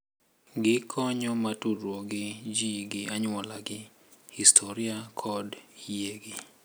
Gikonyo mar tudruok gi ji gi anyuolagi, historia, kod yiegi.